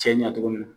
Cɛ ɲɛ togo min na